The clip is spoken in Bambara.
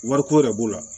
Wariko yɛrɛ b'o la